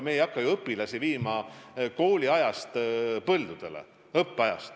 Me ei hakka ju õpilasi viima kooliajast põldudele.